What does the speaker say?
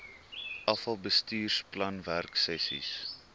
afal bestuursplan werksessies